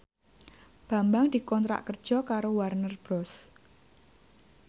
Bambang dikontrak kerja karo Warner Bros